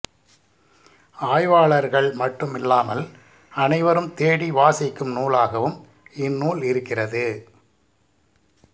ஆய்வாளர்கள் மட்டுமில்லாமல் அனைவரும் தேடி வாசிக்கும் நூலாகவும் இந்நூல் இருக்கிறது